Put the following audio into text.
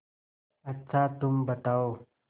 अच्छा तुम बताओ